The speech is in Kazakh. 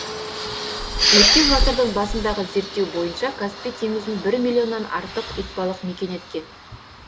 өткен ғасырдың басындағы зерттеу бойынша каспий теңізін бір миллионнан артық итбалық мекен еткен